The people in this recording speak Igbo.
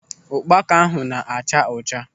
Ụkpaka ahụ na-acha ọcha.